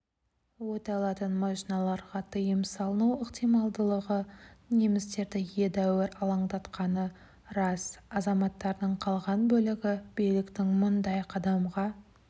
оталатын машиналарға тыйым салыну ықтималдылығы немістерді едәуір алаңдатқаны рас азаматтардың қалған бөлігі биліктің мұндай қадамға